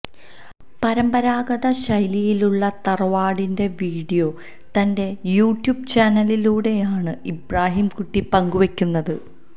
പരമ്പരാഗത ശൈലിയിലുള്ള തറവാടിന്റെ വീഡിയോ തന്റെ യൂട്യൂബ് ചാനലിലൂടെയാണ് ഇബ്രാഹിംകുട്ടി പങ്കുവെക്കുന്നത്